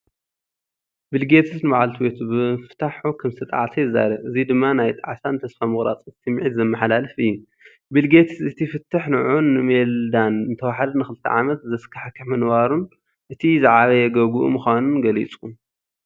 "ቢል ጌትስ ንበዓልቲ ቤቱ ብምፍታሑ ከምዘጣዓሰ ይዛረብ" እዚ ድማ ናይ ጣዕሳን ተስፋ ምቑራጽን ስምዒት ዘመሓላልፍ እዩ። ቢል ጌትስ፡ እቲ ፍትሕ ንዕኡን ንሜሊንዳን እንተወሓደ ንኽልተ ዓመት "ዘስካሕክሕ" ምንባሩን እቲ ዝዓበየ ጌጋኡ ምዃኑን ገሊጹ።